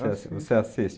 Você assiste?